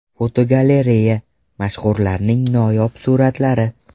Fotogalereya: Mashhurlarning noyob suratlari.